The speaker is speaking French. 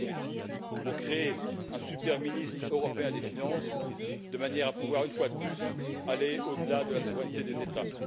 Moscovici, pour créer un super ministre européen des finances, de manière à pouvoir, une fois de plus, aller au delà de la souveraineté des États?